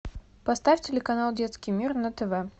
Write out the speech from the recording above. поставь телеканал детский мир на тв